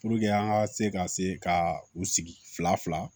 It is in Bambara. an ka se ka se ka u sigi fila fila